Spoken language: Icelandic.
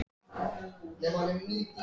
Við erum úti á miðri götu, sagði hann.